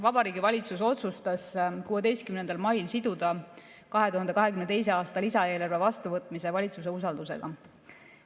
Vabariigi Valitsus otsustas 16. mail siduda 2022. aasta lisaeelarve vastuvõtmise valitsuse usaldamisega.